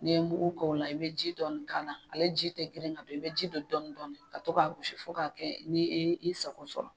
N'i ye mugu k'o la i bɛ ji dɔɔni k'a la, ale ji tɛ girin ka don i bɛ ji don dɔɔni dɔɔni ka to k'a gosi fo k'a kɛ ni i ye i sago sɔrɔ